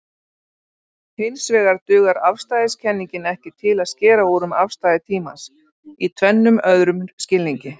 Hinsvegar dugar afstæðiskenningin ekki til að skera úr um afstæði tímans í tvennum öðrum skilningi.